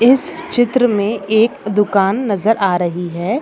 इस चित्र मे एक दुकान नज़र आ रही है।